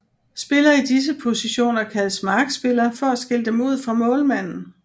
Spillere i disse positioner kaldes markspillere for at skille dem ud fra målmanden